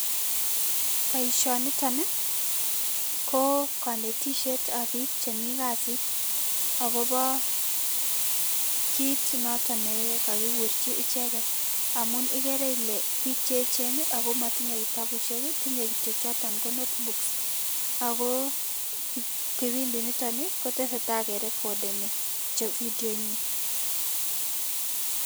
Boisinitok ko kanetisiet nebo biik chemi kasiit akobo kiit noto nekakikurchi icheket amun igeere ile biik che echen ako matinyei kitabushiek tinyei kityo choto ko notebooks ako kipindinito kotesetai kerekodeni vidionyin.